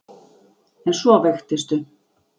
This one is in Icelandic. En svo veiktistu.